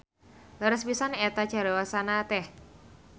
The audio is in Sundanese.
Leres pisan eta cariosan teh.